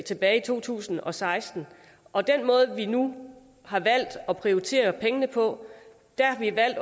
tilbage i to tusind og seksten og den måde vi nu har valgt at prioritere pengene på er ved